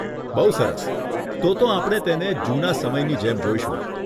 બહુ સરસ, તોતો આપણે તેને જૂના સમયની જેમ જોઈશું.